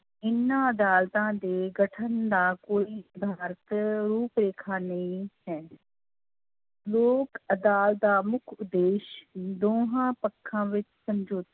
ਇਹਨਾਂ ਅਦਾਲਤਾਂ ਦੇ ਗਠਨ ਦਾ ਕੋਈ ਰੂਪ ਰੇਖਾ ਨਹੀਂ ਹੈ ਲੋਕ ਅਦਾਲਤ ਦਾ ਮੁੱਖ ਉਦੇਸ਼ ਦੋਹਾਂ ਪੱਖਾਂ ਵਿੱਚ ਸਮਝੋ